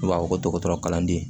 U b'a fɔ ko dɔgɔtɔrɔ kalanden